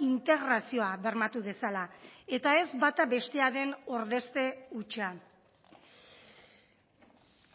integrazioa bermatu dezala eta ez bata bestearen ordezte hutsa